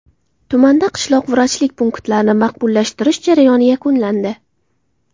Tumanda qishloq vrachlik punktlarini maqbullashtirish jarayoni yakunlandi.